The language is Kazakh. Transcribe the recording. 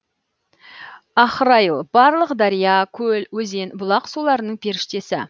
ахрайыл барлық дария көл өзен бұлақ суларының періштесі